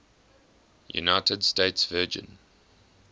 united states virgin